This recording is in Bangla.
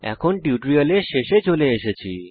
টিউটোরিয়ালের শেষে চলে এসেছি